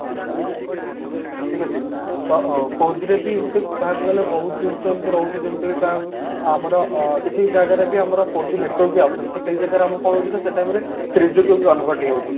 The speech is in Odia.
ଠିକ ଅଛି ତ four G ରେ ବି ଏମତି କହିବାକୁ ଗଲେ ବହୁତ ଜିନିଷ ଏମତି ରହୁଛି ଯେମତି କି କହିବାକୁ ଆମର ଅ କିଛି ଜାଗାରେ ବି ଆମର four G network ବି ଆସୁନି ତ ସେଇ ଜାଗାରେ ଆମର କଣ ହଉଛି ନା ସେଇ time ରେ three G କୁ convert ହେଇଯାଉଛି